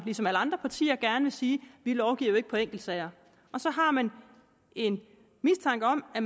ligesom alle andre partier gerne vil sige vi lovgiver ikke på enkeltsager så har man en mistanke om at